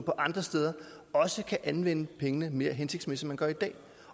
og andre steder kan anvende pengene mere hensigtsmæssigt end man gør i dag